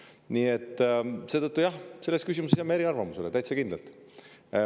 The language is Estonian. Nii et seetõttu, jah, me selles küsimuses jääme eri arvamustele, täitsa kindlalt.